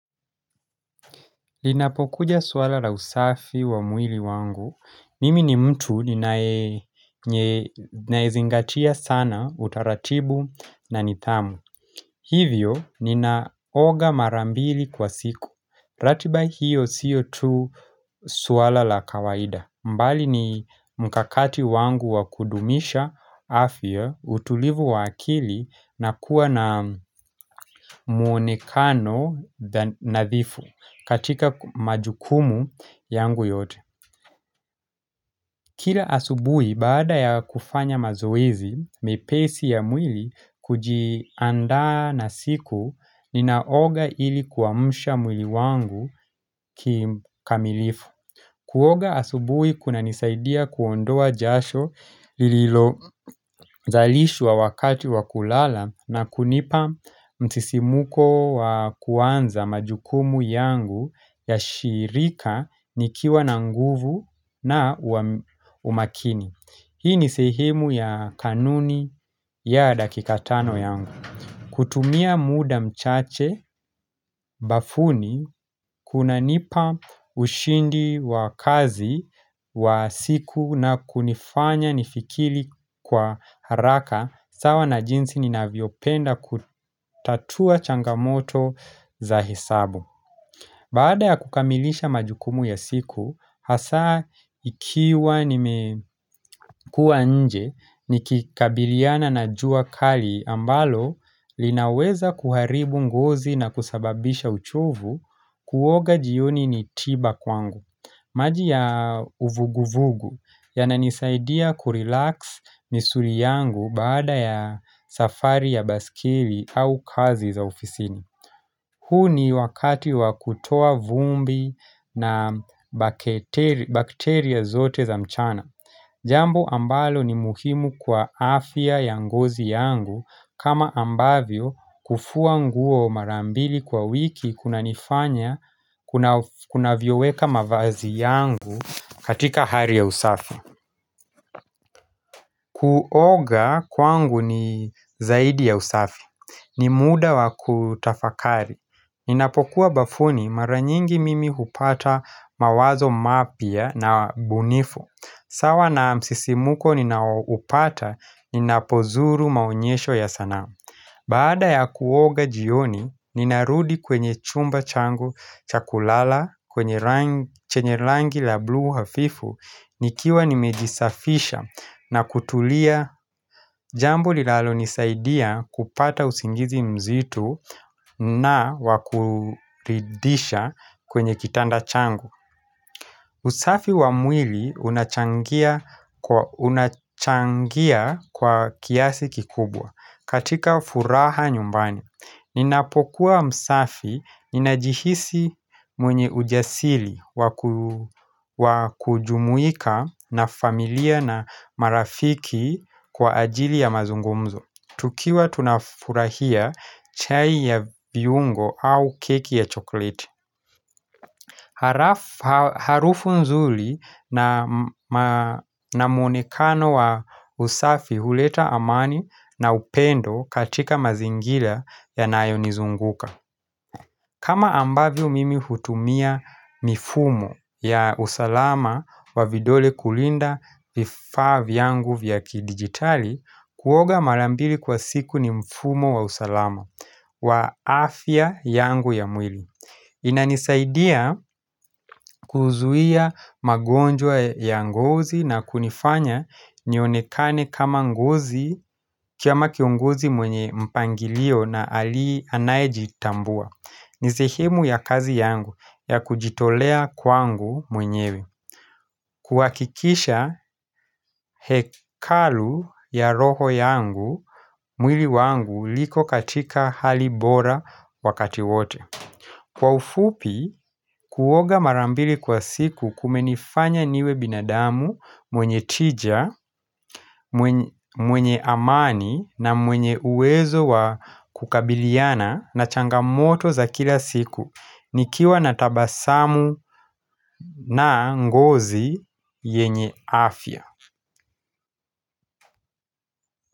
Linapokuja swala la usafi wa mwili wangu, mimi ni mtu ninayezingatia sana utaratibu na nithamu Hivyo ninaoga mara mbili kwa siku, ratiba hiyo siyo tu suwala la kawaida mbali ni mkakati wangu wa kudumisha afya, utulivu wa akili na kuwa na muonekano nadhifu katika majukumu yangu yote. Kila asubui baada ya kufanya mazoezi mepesi ya mwili kujiandaa na siku ninaoga ili kuamsha mwili wangu kikamilifu. Kuoga asubui kunanisaidia kuondoa jasho lililo zalishwa wakati wa kulala na kunipa mtisimuko wa kuanza majukumu yangu ya shirika nikiwa na nguvu na umakini. Hii ni sehimu ya kanuni ya dakika tano yangu. Kutumia muda mchache, bafuni, kunanipa ushindi wa kazi wa siku na kunifanya nifikili kwa haraka, sawa na jinsi ninavyopenda kutatua changamoto za hesabu. Baada ya kukamilisha majukumu ya siku, hasa ikiwa nimekua nje, nikikabiliana na jua kali ambalo linaweza kuharibu ngozi na kusababisha uchovu kuoga jioni ni tiba kwangu. Maji ya uvuguvugu yananisaidia kurelax misuri yangu baada ya safari ya baskeli au kazi za ofisini. Huu ni wakati wa kutoa vumbi na bacteria zote za mchana. Jambo ambalo ni muhimu kwa afya ya ngozi yangu kama ambavyo kufua nguo mara mbili kwa wiki kunanifanya kunavyoweka mavazi yangu katika hari ya usafi. Kuoga kwangu ni zaidi ya usafi. Ni muda wa kutafakari. Ninapokuwa bafuni mara nyingi mimi hupata mawazo mapya na bunifu sawa na msisimuko ninaoupata ninapozuru maonyesho ya sanaa Baada ya kuoga jioni ninarudi kwenye chumba changu cha kulala kwenye chenye langi la blue hafifu nikiwa nimejisafisha na kutulia jambo linalo nisaidia kupata usingizi mzito na wa kuridhisha kwenye kitanda changu usafi wa mwili unachangia kwa kiasi kikubwa katika furaha nyumbani Ninapokuwa msafi, ninajihisi mwenye ujasili wa kujumuika na familia na marafiki kwa ajili ya mazungumzo tukiwa tunafurahia chai ya viungo au keki ya chokleti Harufu nzuli na muonekano wa usafi huleta amani na upendo katika mazingila yanayonizunguka kama ambavyo mimi hutumia mifumo ya usalama wa vidole kulinda vifaa vyangu vya kidigitali Kuoga mara mbili kwa siku ni mfumo wa usalama wa afya yangu ya mwili inanisaidia kuzuia magonjwa ya ngozi na kunifanya nionekane kama ngozi kia makiongozi mwenye mpangilio na ali anaejitambua ni sehemu ya kazi yangu ya kujitolea kwangu mwenyewe kuwakikisha hekalu ya roho yangu mwili wangu liko katika hali bora wakati wote Kwa ufupi, kuoga mara mbili kwa siku kumenifanya niwe binadamu mwenye tija, mwenye amani na mwenye uwezo wa kukabiliana na changamoto za kila siku nikiwa na tabasamu na ngozi yenye afya.